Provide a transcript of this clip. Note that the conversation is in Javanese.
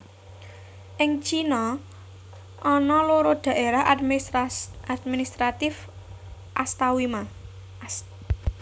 Ing China ana loro Daérah Administratif Astamiwa